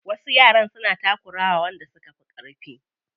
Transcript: Wasu yaran suna takura wa wanda suka fi ƙarfi.